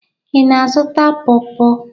Ị na-azụta pọrpọr?